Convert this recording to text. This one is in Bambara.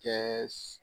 Kɛɛ